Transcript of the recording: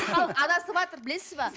халық адасыватыр білесіз бе